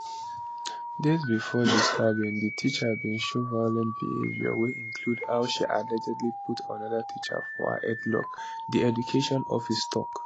days bifor di stabbing di teacher bin show violent behaviour wey include how she allegedly put anoda teacher for her headlock di education office tok